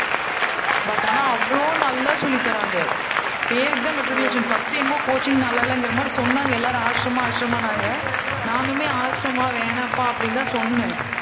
but ஆனா, அவ்ளோ நல்லா சொல்லி தர்றாங்க. பேருக்குதான் matriculation first என்னமோ coaching நல்லா இல்லைங்கிற மாதிரி சொன்னாங்க. எல்லாரும் ஆஷ்ரம், ஆஷ்ரம்னாங்க நானுமே ஆஷ்ரமா வேணாம்பா